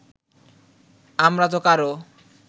আমরাতো কারো